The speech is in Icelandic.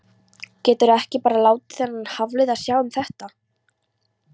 Geturðu ekki bara látið þennan Hafliða sjá um þetta?